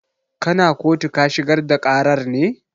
Kana kotu ka shigar da ƙarar ne?